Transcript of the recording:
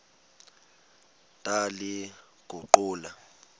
ndaliguqula